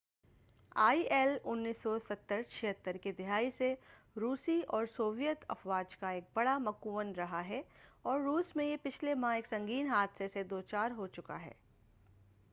آئی ایل-76 1970 کی دہائی سے روسی اور سوویت افواج کا ایک بڑا مُکوِّن رہا ہے اور روس میں یہ پچھلے ماہ ایک سنگین حادثہ سے دوچار ہو چکا ہے